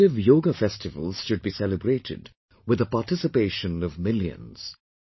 Collective Yoga festivals should be celebrated with the participation of millions